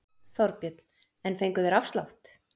Þorbjörn: En fengu þeir afslátt?